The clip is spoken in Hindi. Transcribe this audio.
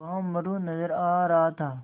वहाँ मोरू नज़र आ रहा था